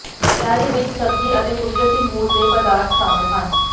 ਤਿਆਰੀ ਵਿੱਚ ਸਬਜ਼ੀ ਅਤੇ ਕੁਦਰਤੀ ਮੂਲ ਦੇ ਪਦਾਰਥ ਸ਼ਾਮਲ ਹਨ